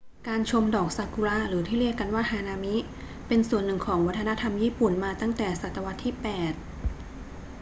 การชมดอกซากุระหรือที่เรียกกันว่าฮานามิ เป็นส่วนหนึ่งของวัฒนธรรมญี่ปุ่นมาตั้งแต่ศตวรรษที่ 8